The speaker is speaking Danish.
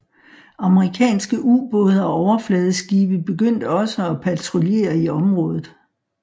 Amerikanske ubåde og overfladeskibe begyndte også at patruljere i området